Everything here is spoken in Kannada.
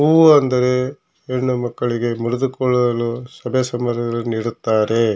ಹೂವು ಅಂದರೆ ಹೆಣ್ಣು ಮಕ್ಕಳಿಗೆ ಮುಡಿದುಕೊಳ್ಳಲು ಸಭೆ ಸಮಾರಂಭಗಲ್ಲಿ ನೀಡುತ್ತಾರೆ.